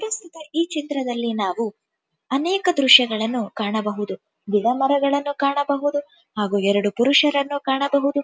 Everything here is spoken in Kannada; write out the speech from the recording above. ಪ್ರಸ್ತುತ ಈ ಚಿತ್ರದಲ್ಲಿ ನಾವು ಅನೇಕ ದೃಶ್ಯಗಳನ್ನು ಕಾಣಬಹುದು ಗಿಡಮರಗಳನ್ನು ಕಾಣಬಹುದು ಹಾಗು ಎರಡು ಪುರುಷರನ್ನು ಕಾಣಬಹುದು .